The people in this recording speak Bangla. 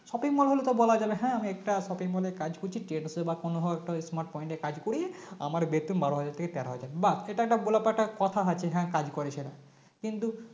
Shopping mall হলেতো বলাই যাবে হ্যাঁ আমি একটা shopping mall এ কাজ করছি trades এ বা কোনো হয়তো smart point এ কাজ করি আমার বেতন বারো হাজার থেকে তেরো হাজার বাহ এটা একটা বলা পাটা কথা আছে হ্যাঁ কাজ করে সেটা কিন্তু